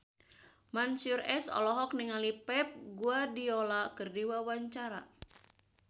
Mansyur S olohok ningali Pep Guardiola keur diwawancara